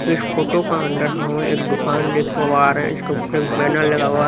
इस फोटो का अंदर हम एक दुकान देख पा रहे है इसके ऊपर एक बैनर लगा हुआ है।